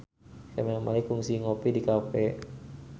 Camelia Malik kungsi ngopi di cafe